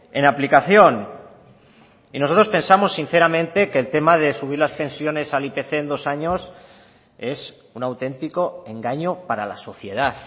en aplicación y nosotros pensamos sinceramente que el tema de subir las pensiones al ipc en dos años es un auténtico engaño para la sociedad